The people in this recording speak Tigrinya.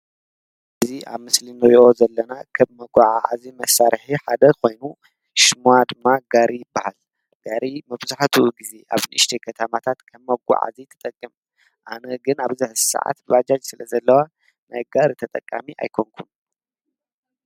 እዚ ኣብ ምስሊ ንሪኦ ዘለና ካብ መጓዓዓዚ መሳርሒ ሓደ ኮይኑ ሽማ ድማ ጋሪ ይበሃል፡፡ ጋሪ መብዛሕትኡ ኣብ ንኡሽተይ ከተማታት ንመጓዓዓዚ ይጠቅም፡፡ ኣነ ግን ኣብዚ ሕዚ ሰዓት ባጃጅ ስለዘለዋ ናይ ጋሪ ተጠቃሚ ኣይኮንኩን፡፡